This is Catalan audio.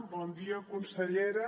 bon dia consellera